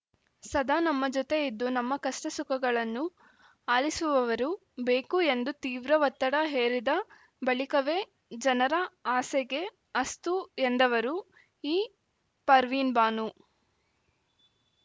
ಸದಾ ನಮ್ಮ ಜೊತೆ ಇದ್ದು ನಮ್ಮ ಕಷ್ಟಸುಖಗಳನ್ನು ಆಲಿಸುವವರು ಬೇಕು ಎಂದು ತೀವ್ರ ಒತ್ತಡ ಹೇರಿದ ಬಳಿಕವೇ ಜನರ ಆಸೆಗೆ ಅಸ್ತು ಎಂದವರು ಈ ಪರ್ವಿನ್‌ಬಾನು